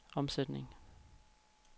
omsætning